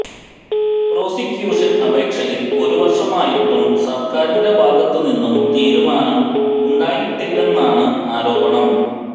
prosecution അപേക്ഷയിൽ ഒരു വർഷമായിട്ടും സർക്കാറിൻെറ ഭാഗത്തു നിന്നും തീരുമാനം ഉണ്ടായിട്ടില്ലെന്നാണ് ആരോപണം